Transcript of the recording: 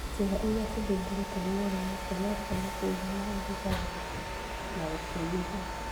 Ciĩga iria cithumbũretwo nĩ mũrimũ ũcio no cioneke irĩ na ũrugarĩ kana gũtunĩha.